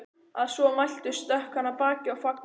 Að svo mæltu stökk hann af baki og fagnaði þeim.